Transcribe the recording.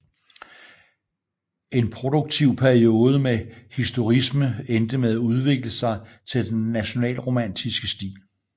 En produktiv periode med historicisme endte med at udvikle sig til den nationalromantiske stil